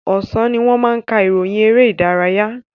Ọ̀sán ni wọ́n máa ka ìròyìn eré ìdárayá.